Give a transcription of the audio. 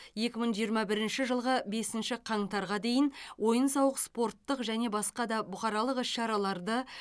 екі мың жиырма бірінші жылғы бесінші қаңтарға дейін ойын сауық спорттық және басқа да бұқаралық іс шараларды